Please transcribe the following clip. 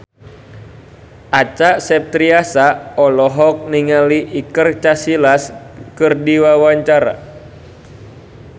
Acha Septriasa olohok ningali Iker Casillas keur diwawancara